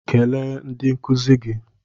Kelee ndị nkụzi gị.